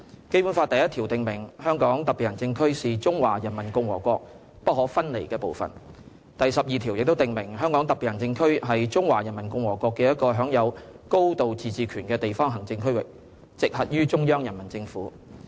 《基本法》第一條訂明，"香港特別行政區是中華人民共和國不可分離的部分"；第十二條亦訂明，"香港特別行政區是中華人民共和國的一個享有高度自治權的地方行政區域，直轄於中央人民政府"。